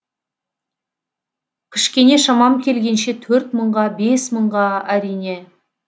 кішкене шамам келгенше төрт мыңға бес мыңға әрине